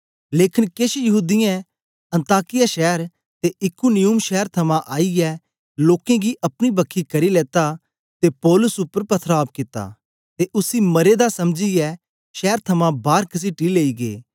लेकन केछ यहूदीयें अन्ताकिया शैर ते इकुनियुम शैर थमां आईयै लोकें गी अपनी बखी करी लेता ते पौलुस उपर पथराव कित्ता ते उसी मरे दा समझीयै शैर थमां बार कसीटी लेई गै